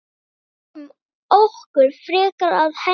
Lögum okkur frekar að henni.